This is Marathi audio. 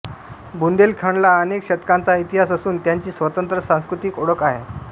बुंदेलखंडला अनेक शतकांचा इतिहास असून त्याची स्वतंत्र सांस्कृतिक ओळख आहे